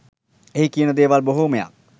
එහි කියන දේවල් බොහොමයක්